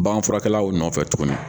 Baganfurakɛlaw nɔfɛ tuguni